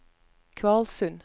Kvalsund